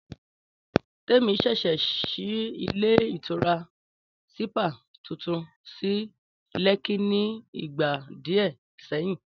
Témi ṣẹ̀ṣẹ̀ ṣí ilé ìtura sípà tuntun sí Lẹ́kí ni ìgbà díẹ̀ sẹ́yìn